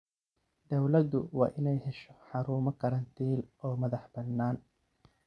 Dawladdu waa inay hesho xarumo karantiil oo madaxbannaan.